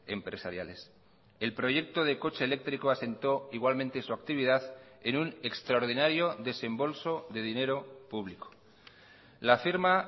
empresariales el proyecto de coche eléctrico asentó igualmente su actividad en un extraordinario desembolso de dinero público la firma